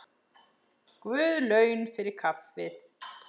Guð laun fyrir kaffið.